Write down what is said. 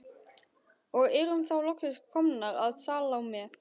Og erum þá loksins komnar að Salóme.